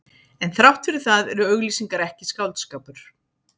En þrátt fyrir það eru auglýsingar ekki skáldskapur.